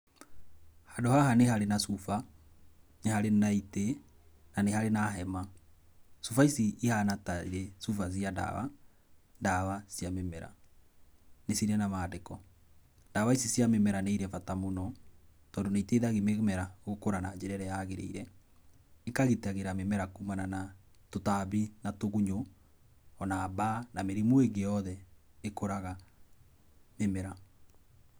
Handũ haha nĩ harĩ cuba, nĩ harĩ na itĩ na nĩ harĩ na hema. Cuba ici cihana ta irĩ na ndawa ndawa cia mĩmera. Nĩcirĩ na mandĩko, ndawa ici cia mĩmera nĩ irĩ bata mũno tondũ nĩiteithagia mĩmera gũkũra na njĩra ĩrĩa yagĩrĩire. ĩkagitĩra mĩmera kumana na tũtambi na tũgunyũ ona mbaa na mĩrimũ ĩngĩ yothe ĩkoraga mĩmera.